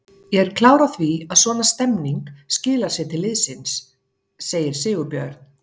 Ég er klár á því að svona stemning skilar sér til liðsins, segir Sigurbjörn.